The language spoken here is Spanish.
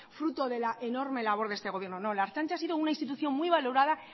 fruto de la enorme labor de este gobierno no la ertzaintza ha sido una institución muy valorada